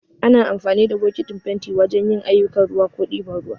Ana amfani da bokatin fenti wajan yin aiyukan ruwa ko ɗiban ruwa